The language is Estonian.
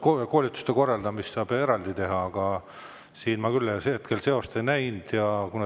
Koolituste korraldamist saab eraldi teha, aga siin ma küll hetkel seost ei näinud.